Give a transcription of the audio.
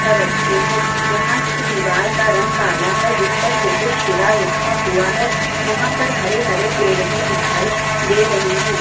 पत्थर रखे है यहाँ की दीवार का रंग काला है जिस पर शेतुशिरा लिखा हुआ है यहाँ पर हरे-हरे पेड़ भी दिखाई दे रहे है।